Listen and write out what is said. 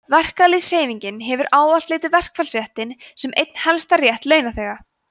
verkalýðshreyfingin hefur ávallt litið verkfallsréttinn sem einn helgasta rétt launþega